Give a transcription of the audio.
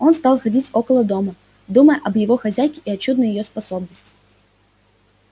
он стал ходить около дома думая об его хозяйке и о чудной её способности